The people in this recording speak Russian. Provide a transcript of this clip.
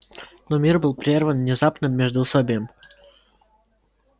но мир был прерван незапным междуусобием